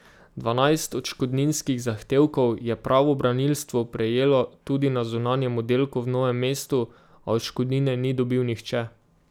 Dvanajst odškodninskih zahtevkov je pravobranilstvo prejelo tudi na zunanjem oddelku v Novem mestu, a odškodnine ni dobil nihče.